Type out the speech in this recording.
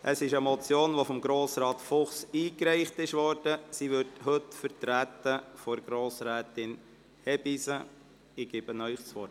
diese wurde von Grossrat Fuchs eingereicht und wird heute von Grossrätin Hebeisen vertreten.